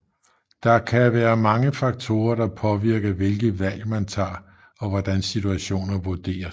Der kan være mange faktorer der påvirker hvilke valg man tager og hvordan situationer vurderes